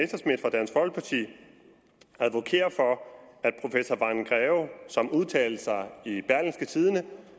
dansk folkeparti advokerer for at professor vagn greve som udtalte sig i berlingske tidende